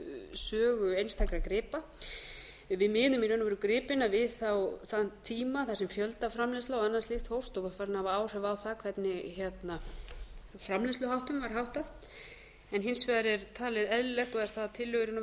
sögu einstakra gripa miðum við í raun og veru gripina við þá þann tíma þar sem fjöldaframleiðsla og annað slíkt hófst og var farin að hafa áhrif á það hvernig framleiðsluháttum var háttað hins vegar er það talið eðlilegt og er það að tillögu í raun og